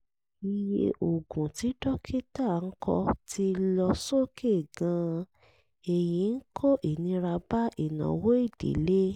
iye oògùn tí dókítà kọ ti lọ sókè gan-an èyí ń kó ìnira bá ìnáwó ìdílé